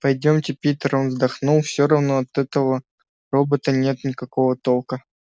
пойдёмте питер он вздохнул все равно от такого робота нет никакого толка